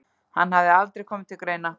Hann hafði aldrei komið til greina.